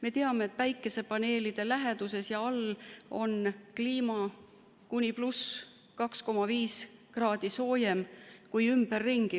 Me teame, et päikesepaneelide läheduses ja all on kliima kuni 2,5 kraadi soojem kui ümberringi.